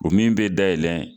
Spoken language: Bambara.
O min bɛ daylɛn.